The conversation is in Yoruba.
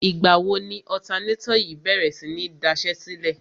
Ìgbà wo ni ọ̀tanátọ̀ yìí bèrè sí ní daṣẹ́sílẹ̀?